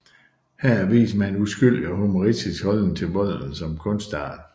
Her vist med en uskyldig og humoristisk holdning til volden som kunstart